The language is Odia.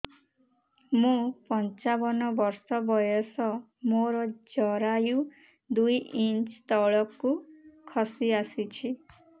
ମୁଁ ପଞ୍ଚାବନ ବର୍ଷ ବୟସ ମୋର ଜରାୟୁ ଦୁଇ ଇଞ୍ଚ ତଳକୁ ଖସି ଆସିଛି